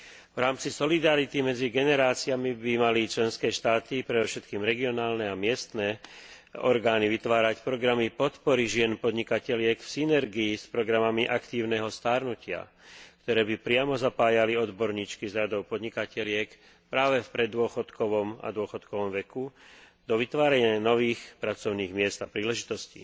V rámci solidarity medzi generáciami by mali členské štáty, predovšetkým regionálne a miestne orgány, vytvárať programy podpory žien podnikateliek v synergii s programami aktívneho starnutia, ktoré by priamo zapájali odborníčky z radov podnikateliek práve v preddôchodkovom a dôchodkovom veku do vytvárania nových pracovných miest a príležitostí.